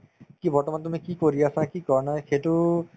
কি বৰ্তমান তুমি কি কৰি আছা কি কৰা নাই সেইটো